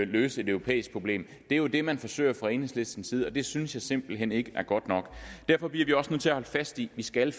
løse et europæisk problem det er jo det man forsøger fra enhedslisten side og det synes jeg simpelt hen ikke er godt nok derfor bliver vi også nødt til at holde fast i at vi skal